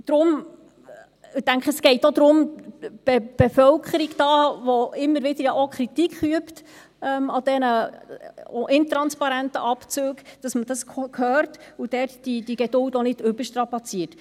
Ich denke, es geht auch um die Bevölkerung, die ja immer wieder Kritik an diesen intransparenten Abzügen übt, dass man dies hört und deren Geduld auch nicht überzustrapazieren.